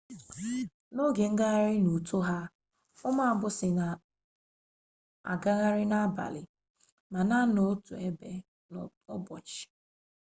n'oge ngagharị n'uto ha ụmụ agbụsị na-agagharị n'abalị ma na-anọ otu ebe n'ụbọchị